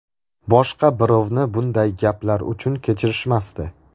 Boshqa birovni bunday gaplar uchun kechirishmasdi.